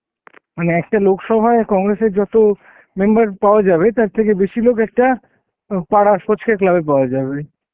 মানে একটা লোক সভায় congress এর যত member পাওয়া যাবে তার থেকে বেসি লোক একটা পারার ফচকে club এ পাওয়া যাবে